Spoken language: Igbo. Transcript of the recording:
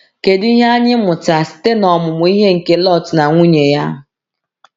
“Kedu ihe anyị mụta site n’ọmụmụ ihe nke Lot na nwunye ya?”